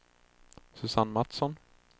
Susanne Matsson